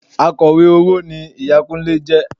Akọ̀wé owó ni ìyá Kúnlé jẹ